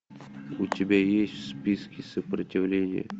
у тебя есть в списке сопротивление